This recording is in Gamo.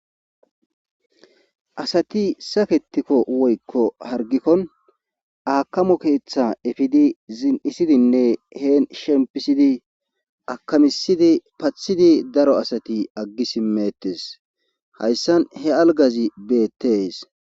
asati saketikko woykko hargikkon aakamo keeththa efidi zin7isidinne heen shempisidi akamisidi pathidi daro asati aggi simettes hayssan he algazi beettees